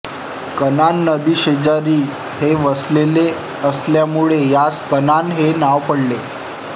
कन्हान नदीशेजारी हे वसलेले असल्यामुळे यास कन्हान हे नाव पडले